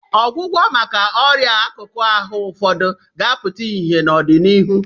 Ọgwụgwọ maka ọrịa akụkụ ahụ ụfọdụ ga-apụta ìhè n'ọdịnihu.